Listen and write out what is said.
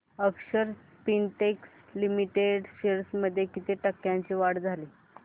अक्षर Spintex limited shares मध्ये किती टक्क्यांची वाढ झाली